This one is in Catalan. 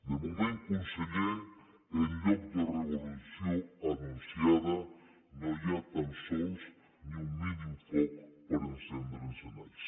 de moment conseller en lloc de revolució anunciada no hi ha tan sols ni un mínim foc per encendre encenalls